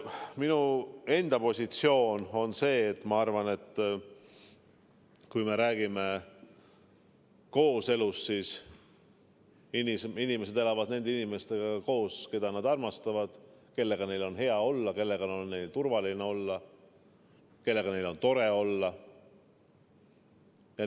Minu enda positsioon on see, et kui me räägime kooselust, siis inimesed elavad nende inimestega koos, keda nad armastavad, kellega neil on hea olla, kellega neil on turvaline olla, kellega neil on tore olla.